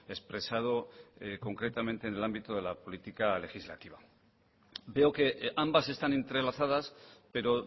expresado concretamente en el ámbito de la política legislativa veo que ambas están entrelazadas pero